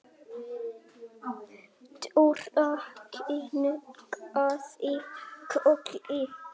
Dóra kinkaði kolli.